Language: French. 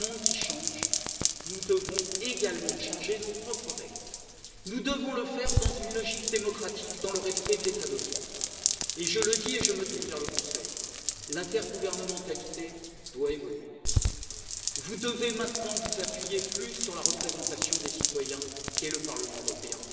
Dans un monde qui change, nous devons également changer nos propres règles, nous devons le faire dans une logique démocratique et dans le respect de l'état de droit je le dis, et je me tourne vers le Conseil l'intergouvernementalité doit évoluer, vous devez maintenant vous appuyer davantage sur les représentants des citoyens, c'est à dire le Parlement européen.